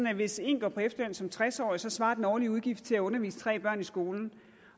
at hvis en går på efterløn som tres årig svarer den årlige udgift til at undervise tre børn i skolen